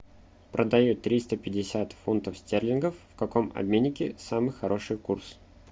продаю триста пятьдесят фунтов стерлингов в каком обменнике самый хороший курс